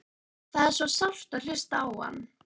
Það er svo sárt að hlusta á hann.